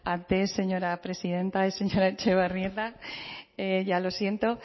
antes señora presidenta y señora etxebarrieta ya lo siento